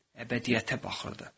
Əbədiyyətə baxırdı.